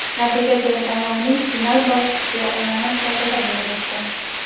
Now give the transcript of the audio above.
natija teletanlovining final bosqichi onlayn shaklda bo‘lib o‘tdi.